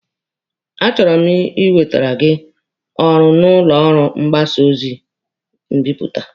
A chọrọ m inwetere gị ọrụ na ụlọ ọrụ mgbasa ozi mbipụta.